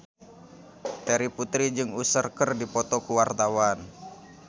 Terry Putri jeung Usher keur dipoto ku wartawan